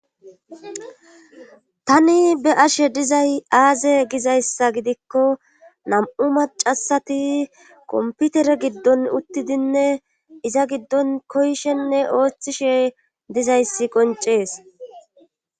Tani be ashe dizay aaze gizayssa gidikko nam'u macasati komputere giddon uttidinne iza giddon koyshenne ooththishe dizayssi qoncees.